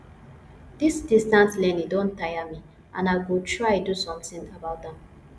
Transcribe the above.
dis distance learning don tire me and i go try do something about am